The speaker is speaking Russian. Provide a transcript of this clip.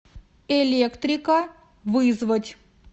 электрика вызвать